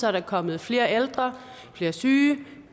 er der kommet flere ældre flere syge